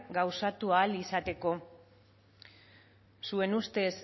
gauzatu ahal izateko zuen ustez